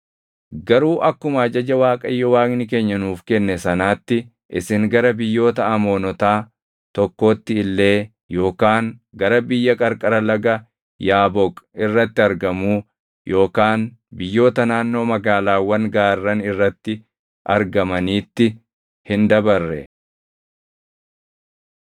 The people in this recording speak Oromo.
Garuu akkuma ajaja Waaqayyo Waaqni keenya nuuf kenne sanaatti isin gara biyyoota Amoonotaa tokkootti illee yookaan gara biyya qarqara laga Yaaboq irratti argamuu yookaan biyyoota naannoo magaalaawwan gaarran irratti argamaniitti hin dabarre.